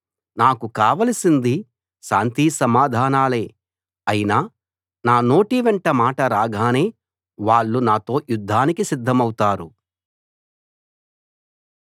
నాకు కావలసింది శాంతి సమాధానాలే అయినా నా నోటి వెంట మాట రాగానే వాళ్ళు నాతో యుద్ధానికి సిద్ధమవుతారు